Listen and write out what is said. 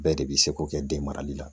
Bɛɛ de bɛ se ko kɛ den marali la